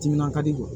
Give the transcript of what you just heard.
Timinan ka di